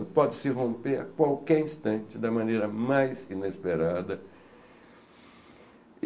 Ela pode se romper a qualquer instante, da maneira mais que inesperada.